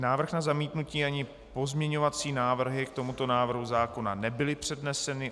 Návrh na zamítnutí ani pozměňovací návrhy k tomuto návrhu zákona nebyly předneseny.